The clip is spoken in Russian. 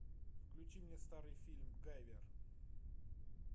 включи мне старый фильм гайвер